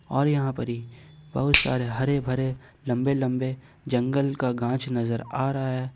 और यहां पर ही बहुत सारे हरे भरे लंबे लंबे जंगल का घास नजर आ रहा है।